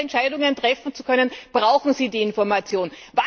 Um diese Entscheidungen treffen zu können, brauchen sie die Information.